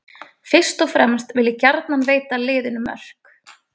Fyrst og fremst vil ég gjarnan veita liðinu mörk.